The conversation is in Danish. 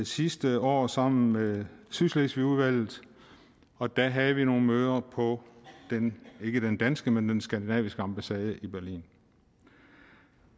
sidste år sammen med sydslesvigudvalget og der havde vi nogle møder på ikke den danske men den skandinaviske ambassade i berlin